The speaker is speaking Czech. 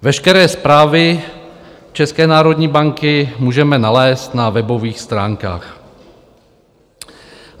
Veškeré zprávy České národní banky můžeme nalézt na webových stránkách.